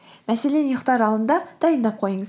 мәселен ұйықтар алдында дайындап қойыңыз